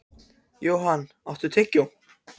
Johan, áttu tyggjó?